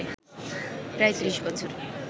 প্রায় ৩০ বছর